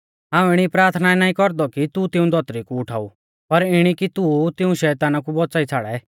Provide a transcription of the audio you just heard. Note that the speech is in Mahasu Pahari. हाऊं इणी प्राथना नाईं कौरदौ कि तू तिऊं धौतरी कु उठाऊ पर इणी कि तू तिऊं शैताना कु बौच़ाई छ़ाड़ै